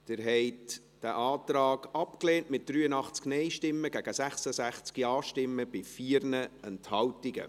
Sie haben diesen Antrag abgelehnt, mit 83 Nein- gegen 66 Ja-Stimmen bei 4 Enthaltungen.